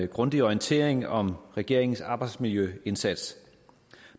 grundige orientering om regeringens arbejdsmiljøindsats